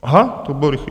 Aha, to bylo rychlý.